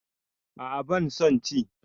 A'a ban son ci